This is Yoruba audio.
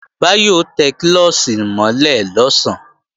Báyọ̀ ó tẹ klọ́ọ̀ṣì mọ́ lẹ̀ lọ̀sán